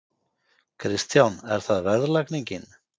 Kristján: Er það verðlagningin?